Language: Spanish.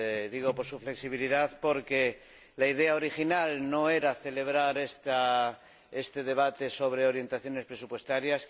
Digo su flexibilidad porque la idea original no era celebrar este debate sobre orientaciones presupuestarias.